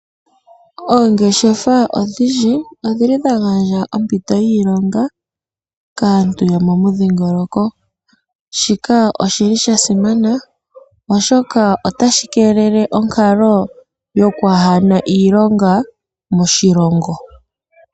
Oongeshefa odhindji odhili dha gandja ompito yiilonga kaantu yomomudhiingoloko. Shika oshili sha simana oshoka otashi keelele onkalo yokwaana iilonga moshilongo.